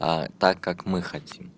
а так как мы